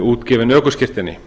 útgefin ökuskírteini